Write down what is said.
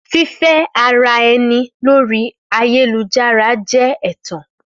Fífẹ́-ara-ẹni lórii ayélujára jẹ́ ẹ̀tàn